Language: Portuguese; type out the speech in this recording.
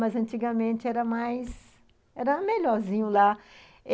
Mas antigamente era mais... Era melhorzinho lá.